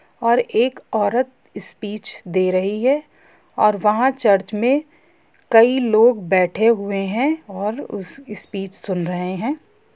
और एक औरत स्पीच दे रही है और वहां चर्च में है कई लोग बैठे हुए हैं और स्पीच सुन रहे है।